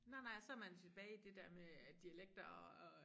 Nej nej og så man tilbage i det dér med øh dialekter og